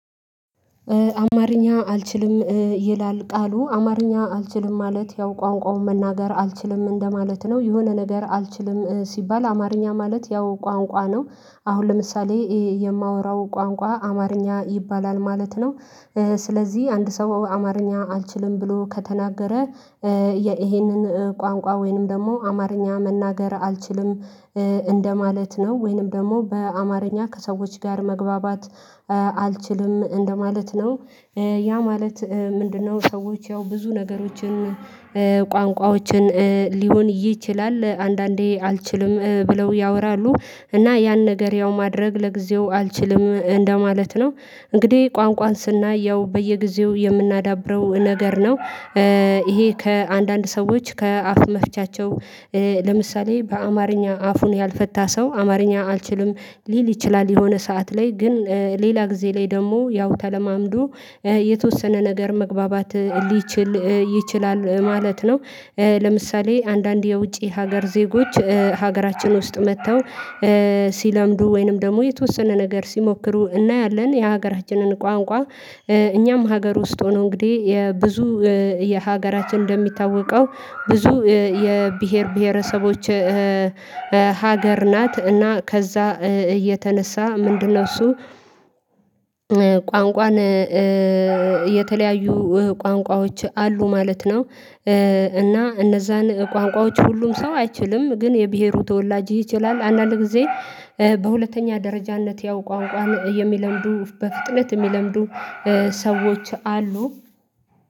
አማርኛ አልችልም። ይላል ቃሉ አማርኛ አልችልም ማለት ያው ቋንቋውን መናገር አልችልም እንደማለት ነው የሆነ ነገር አልችልም ሲባል አማርኛ ማለት ያው ቋንቋ ነው። አሁን ለምሳሌ የማወራው ቋንቋ አማርኛ ይባላል ማለት ነው። ስለዚህ አንድ ሰው አማርኛ አልችልም ብሎ ከተናገረ ይሄንን ቋንቋ ወይንም ደግሞ አማርኛ መናገር አልችልም እንደማለት ነው ወይንም ደግሞ በአማርኛ ከሰዎች ጋር መግባባት አልችልም እንደማለት ነው። ያ ማለት ምንድነው? ሰዎች ያው ብዙ ነገሮችን ቋንቋዎችን ሊሆን ይችላል አንዳንዴ አልችልም ብለው ያወራሉ እና ያን ነገር ያው ማድረግ ለጊዜው አልችልም እንደማለት ነው። እንግዲህ ቋንቋን ስናይ ያው በየጊዜው የምናዳብረው ነገር ነው። ይሄ ከአንዳንድ ሰዎች ከአፍ መፍቻቸው ለምሳሌ በአማርኛ አፉን ያልፈታ ሰው አማርኛ አልችልም ሊል ይችላል የሆነ ሰዓት ላይ ግን ሌላ ጊዜ ላይ ደግሞ ያው ተለማምዶ የተወሰነ ነገር መግባባት ሊችል ይችላል ማለት ነው። ለምሳሌ አንዳንድ የውጪ ሀገር ዜጎች ሀገራችን ውስጥ መተው ሲለምዱ ወይንም ደግሞ የተወሰነ ነገር ሲሞክሩ እናያለን የሀገራችንን ቋንቋ እኛም ሀገር ውስጥ ሆነው እንግዲህ የብዙ የሀገራችን እንደሚታወቀው ብዙ የብሄር ብሄረሰቦች ሀገር ናት። እና ከዛ የተነሳ ምንድነው? እሱ ቋንቋን የተለያዩ ቋንቋዎች አሉ ማለት ነው። እና እነዛን ቋንቋዎች ሁሉም ሰው አይችልም ግን የብሄሩ ተወላጅ ይችላል አንዳንድ ጊዜ በሁለተኛ ደረጃነት ያው ቋንቋን የሚለምዱ በፍጥነት የሚለምዱ ሰዎች አሉ።